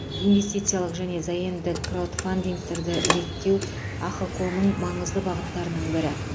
инвестициялық және заемдік краудфандингті реттеу ахқо ның маңызды бағыттарының бірі